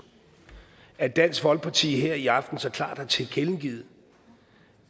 at dansk folkeparti her i aften så klart har tilkendegivet